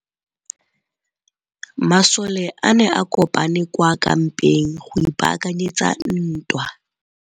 Masole a ne a kopane kwa kampeng go ipaakanyetsa ntwa.